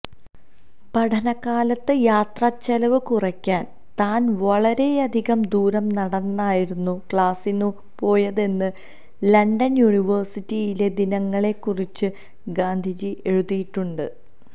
പഠനകാലത്ത് യാത്ര ചെലവ് കുറക്കാന് താന് വളരെയധികം ദൂരം നടന്നായിരുന്നു ക്ലാസിനു പോയതെന്ന് ലണ്ടന് യൂണിവേഴ്സിറ്റിയിലെ ദിനങ്ങളെക്കുറിച്ച് ഗാന്ധിജി എഴുതിയിട്ടുണ്ട്